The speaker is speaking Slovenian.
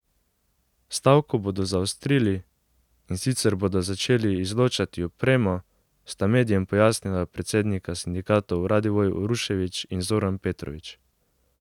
Stavko bodo zaostrili, in sicer bodo začeli izločati opremo, sta medijem pojasnila predsednika sindikatov Radivoj Uroševič in Zoran Petrovič.